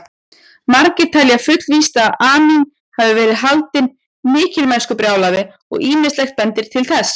Margir telja fullvíst að Amín hafi verið haldinn mikilmennskubrjálæði og ýmislegt bendir til þess.